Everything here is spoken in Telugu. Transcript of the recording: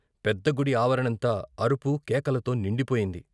పెద్ద గుడి ఆవరణంతా అరుపు కేకలతో నిండిపోయింది.